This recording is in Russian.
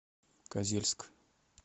козельск